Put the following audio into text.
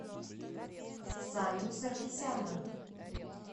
саню саркисяна